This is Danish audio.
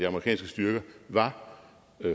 amerikanske styrker var